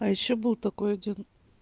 а ещё был такой один